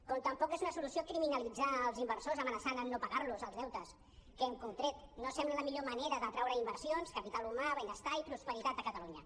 com tampoc és una solució criminalitzar els inversors amenaçant amb no pagar los els deutes que hem contret no sembla la millor manera d’atraure inversions capital humà benestar i prosperitat a catalunya